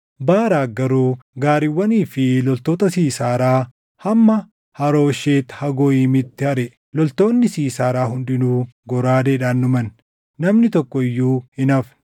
Baaraaqi garuu gaariiwwanii fi loltoota Siisaaraa hamma Harooshet Hagooyimiitti ariʼe; loltoonni Siisaaraa hundinuu goraadeedhaan dhuman. Namni tokko iyyuu hin hafne.